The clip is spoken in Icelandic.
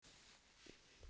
Hvers á Haítí að gjalda?